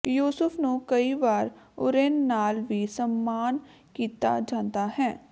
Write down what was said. ਯੂਸੁਫ ਨੂੰ ਕਈ ਵਾਰ ਓਰੁਂਨ ਨਾਲ ਵੀ ਸਮਾਨ ਕੀਤਾ ਜਾਂਦਾ ਹੈ